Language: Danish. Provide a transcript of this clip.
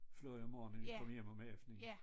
Fløj om morgenen kom hjem om aftenen